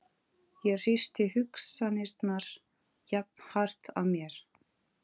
Ég hristi hugsanirnar jafnharðan af mér.